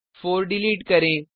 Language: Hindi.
4 डिलीट करें